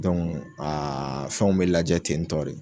a fɛnw bɛ lajɛ tentɔre.